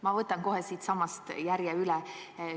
Ma võtan kohe siitsamast järje üle.